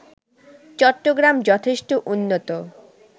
চট্টগ্রাম যথেষ্ট উন্নত